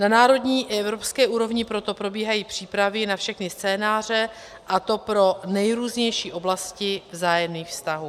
Na národní i evropské úrovni proto probíhají přípravy na všechny scénáře, a to pro nejrůznější oblasti vzájemných vztahů.